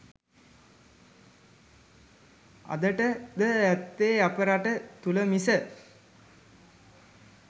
අදට ද ඇත්තේ අප රට තුළ මිස